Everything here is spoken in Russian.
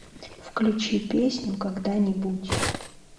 включи песню когда нибудь